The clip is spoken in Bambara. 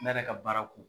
Ne yɛrɛ ka baara ko